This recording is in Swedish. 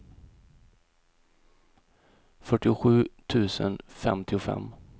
fyrtiosju tusen femtiofem